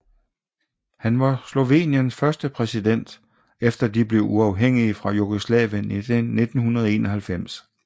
Han var Sloveniens første præsident efter de blev uafhængige fra Jugoslavien i 1991